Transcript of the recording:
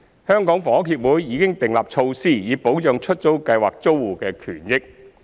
香港房屋協會已訂立措施以保障出租計劃租戶的權益。